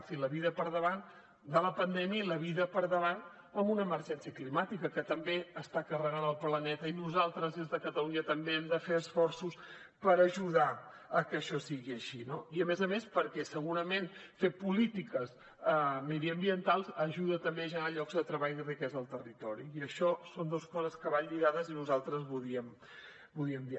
sí la vida per davant de la pandèmia i la vida per davant amb una emergència climàtica que també està carregant el planeta i nosaltres des de catalunya també hem de fer esforços per ajudar a que això sigui així no i a més a més perquè segurament fer polítiques mediambientals ajuda també a generar llocs de treball i riquesa al territori i això són dos coses que van lligades i nosaltres volíem dir